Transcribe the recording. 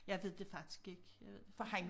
Jeg ved det faktisk ikke jeg ved det faktisk ik